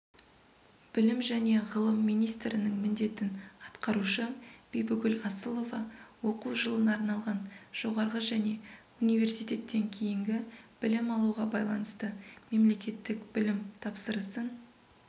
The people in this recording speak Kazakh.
білім және ғылым министрінің міндетін атқарушы бибігүл асылова оқу жылына арналған жоғарғы және университеттен кейінгі білім алуға байланысты мемлекеттік білім тапсырысын